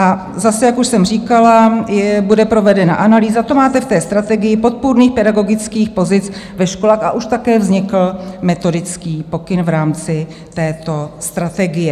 A zase, jak už jsem říkala, bude provedena analýza, to máte v té strategii, podpůrných pedagogických pozic ve školách, a už také vznikl metodický pokyn v rámci této strategie.